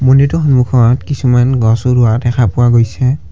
মন্দিৰটোৰ সন্মুখত কিছুমান গছো ৰোৱা দেখা পোৱা গৈছে।